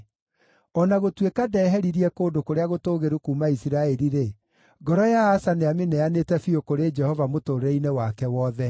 O na gũtuĩka ndeheririe kũndũ kũrĩa gũtũũgĩru kuuma Isiraeli-rĩ, ngoro ya Asa nĩamĩneanĩte biũ kũrĩ Jehova mũtũũrĩre-inĩ wake wothe.